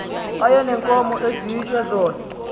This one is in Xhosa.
ayeneenkomo esitya zona